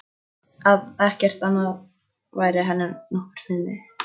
Að ekkert annað væri henni nokkurs virði.